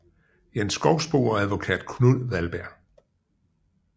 Jens Schovsbo og advokat Knud Wallberg